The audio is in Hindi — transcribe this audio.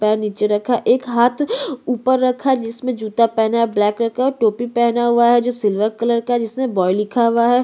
एक पैर नीचे रखा है और एक हाथ ऊपर रखा है जिसमें जूता पहना है ब्लैक कलर का जूता पहना है सिल्वर कलर की कैफे नहीं है और जिसमें बाय लिखा है।